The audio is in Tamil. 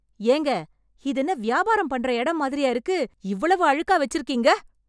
ஏங்க.. இதென்ன வியாபாரம் பண்ணுற இடம் மாதிரியா இருக்கு? இவ்வளவு அழுக்கா வெச்சிருக்கீங்க!?